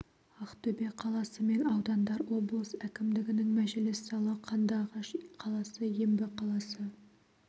ақтөбе қаласы мен аудандар облыс әкімдігінің мәжіліс залы қандыағаш қаласы ембі қаласы